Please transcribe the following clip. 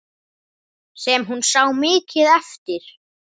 Sem hún sá mikið eftir.